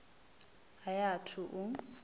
a i a thu u